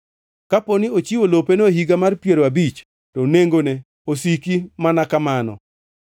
Kaponi ochiwo lopeno e Higa mar Piero Abich, to nengone osiki mana kamano.